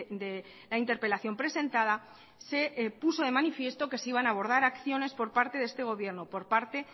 de la interpelación presentada se puso de manifiesto que se iban a abordar acciones por parte de este gobierno por parte